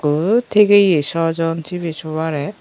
ko tigeye sw jon sibey sobarey.